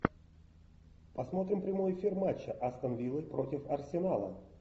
посмотрим прямой эфир матча астон вилла против арсенала